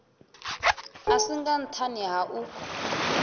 a singa nṱhani ha u